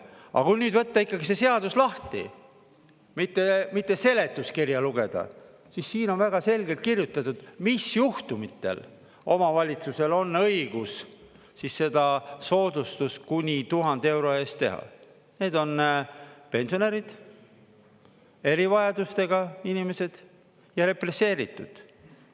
Aga kui nüüd võtta ikkagi see seadus lahti, mitte seletuskirja lugeda, siis siin on väga selgelt kirjutatud, mis juhtumitel omavalitsusel on õigus siis seda soodustust kuni 1000 euro eest teha: need on pensionärid, erivajadustega inimesed ja represseeritud.